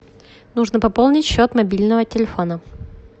нужно пополнить счет мобильного телефона